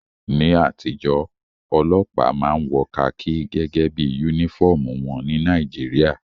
Ní àtijọ́, ọlọ́pàá máa ń wọ kakí gẹ́gẹ́ bí yúnífọ̀mù wọn ní Nàìjíríà